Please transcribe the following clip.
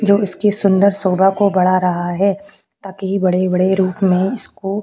जो इसके सुंदर शोभा को बढ़ा रहा है ताकि बड़े - बड़े रूप में इसको --